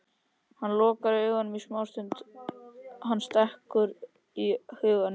Hann lokar augunum smástund og hann stekkur í huganum.